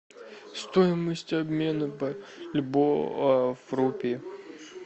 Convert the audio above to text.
стоимость обмена бальбоа в рупии